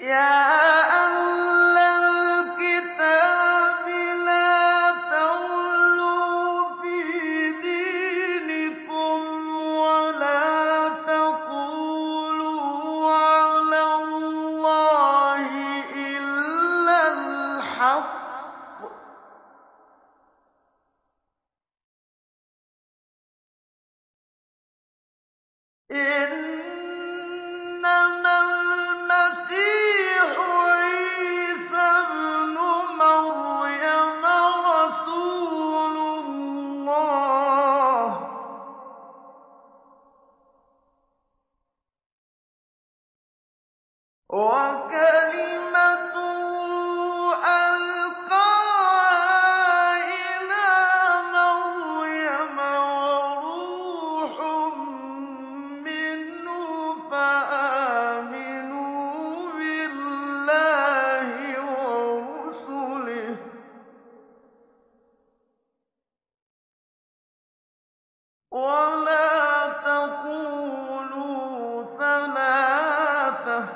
يَا أَهْلَ الْكِتَابِ لَا تَغْلُوا فِي دِينِكُمْ وَلَا تَقُولُوا عَلَى اللَّهِ إِلَّا الْحَقَّ ۚ إِنَّمَا الْمَسِيحُ عِيسَى ابْنُ مَرْيَمَ رَسُولُ اللَّهِ وَكَلِمَتُهُ أَلْقَاهَا إِلَىٰ مَرْيَمَ وَرُوحٌ مِّنْهُ ۖ فَآمِنُوا بِاللَّهِ وَرُسُلِهِ ۖ وَلَا تَقُولُوا ثَلَاثَةٌ ۚ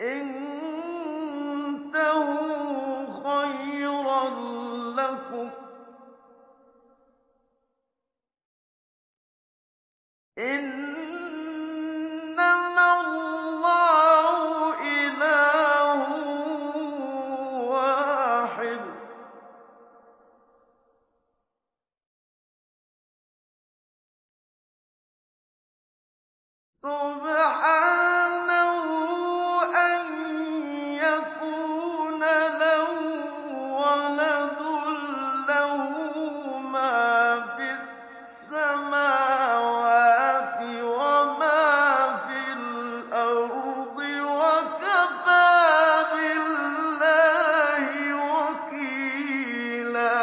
انتَهُوا خَيْرًا لَّكُمْ ۚ إِنَّمَا اللَّهُ إِلَٰهٌ وَاحِدٌ ۖ سُبْحَانَهُ أَن يَكُونَ لَهُ وَلَدٌ ۘ لَّهُ مَا فِي السَّمَاوَاتِ وَمَا فِي الْأَرْضِ ۗ وَكَفَىٰ بِاللَّهِ وَكِيلًا